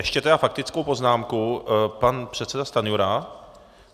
Ještě tedy faktickou poznámku pan předseda Stanjura.